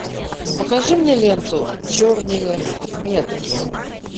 покажи мне ленту черные метки